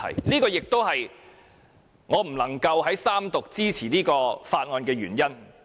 這亦是我不能在三讀支持《條例草案》的原因。